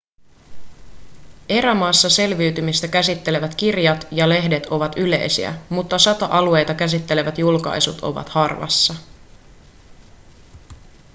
erämaassa selviytymistä käsittelevät kirjat ja lehdet ovat yleisiä mutta sota-alueita käsittelevät julkaisut ovat harvassa